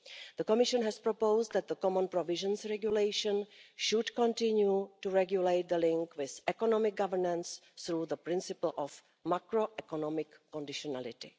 The Commission has proposed that the Common Provisions Regulation should continue to regulate the link with economic governance, through the principle of macro economic conditionality.